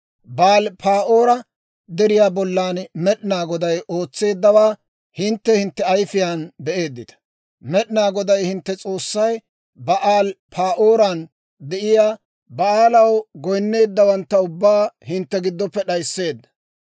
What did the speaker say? Ba'aal-Pa'oora Deriyaa bollan Med'inaa Goday ootseeddawaa hintte hintte ayifiyaan be'eeddita; Med'inaa Goday hintte S'oossay Ba'aal-Pa'ooran de'iyaa Ba'aalaw goyinneeddawantta ubbaa hintte giddoppe d'ayiseedda.